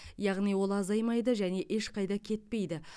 яғни ол азаймайды және ешқайда кетпейді